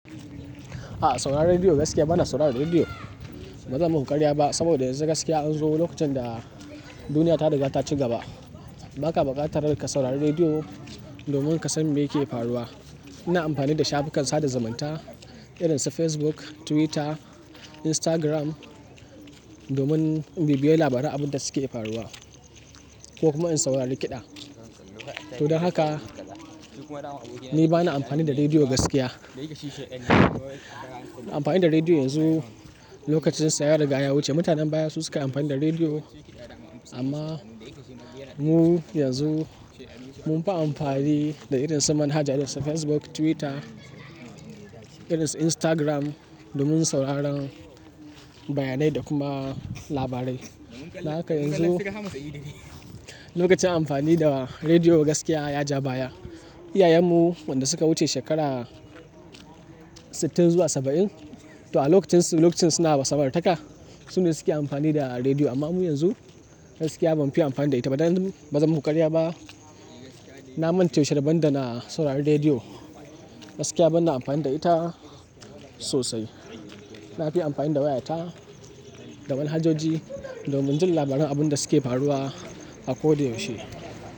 A'a sauraron rediyo gaskiya bana sauraron rediyo. Ba zan muku ƙaryar ba saboda yanzu gaskiya an zo lokacin da duniya ta riga ta ci gaba. Ba ka bukatar ka saurari rediyo domin ka san me yake faruwa. Ina amfani da shafukan sada zumunta irin su Facebook, Twitter, Instagram domin bibiya labaran abin da suke faruwa ko kuma in saurari kiɗa. To don haka ni bana amfani da rediyo gaskiya. Amfani da rediyo yanzu lokacin sa ya ruga da ya wuce mutanen baya su sukai amfani da rediyo amma mu yanzu mun fi amfani da irin su manhaja irin su Facebook, Twitter irin su Instagram domin sauraron bayanai da kuma labarai. Don haka yanzu lokacin amfani da rediyo gaskiya ya ja baya. Iyayenmu wanda suka wuce shekara sittin zuwa saba'in to a lokacin su, lokacin suna da samartaka su ne suke amfani da rediyo amma mu yanzu gaskiya bamu fiye amfani da ita ba dan bazan muƙaryar ba. Na manta yaushe da raban da na saurari rediyo. Gaskiya bana amfani da ita sosai. Nafiye amfani da wayata da manhajoji domin jin labaran abin da suke faruwa a koda yaushe.